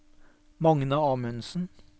Magne Amundsen